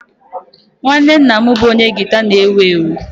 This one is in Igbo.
Nwanne nna m bụ onye gita na-ewu ewu